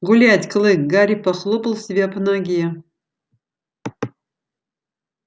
гулять клык гарри похлопал себя по ноге